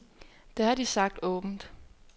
Det har de sagt åbent.